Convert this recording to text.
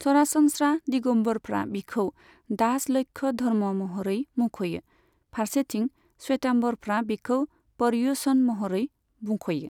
सरासनस्रा, दिगम्बरफ्रा बिखौ दास लक्ष्य धर्म महरै मुंख'यो, फारसेथिं श्वेताम्बरफ्रा बिखौ पर्युषण महरै मुंख'यो।